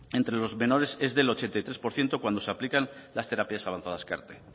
entre los menores es del ochenta y tres por ciento cuando se aplican las terapias avanzadas car t